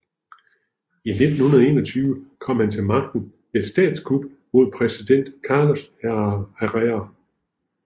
I 1921 kom han til magten ved et statskup mod præsident Carlos Herrera